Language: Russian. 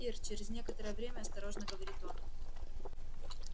ир через некоторое время осторожно говорит он